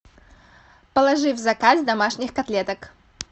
положи в заказ домашних котлеток